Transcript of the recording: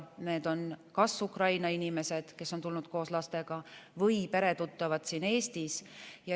Need on kas Ukraina inimesed, kes on tulnud koos lastega, või on neil peretuttavad siin Eestis.